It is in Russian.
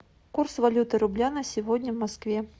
курс валюты рубля на сегодня в москве